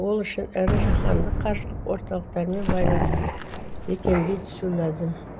ол үшін ірі жаһандық қаржылық орталықтармен байланысты бекемдей түсу ләзім